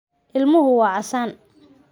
Ilmuhu waa casaan.